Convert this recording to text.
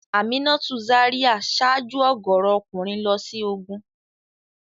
Aminatu Zaria ṣáájú ọ̀gọ̀ọ̀rọ̀ ọkùnrin lọ sí ogun.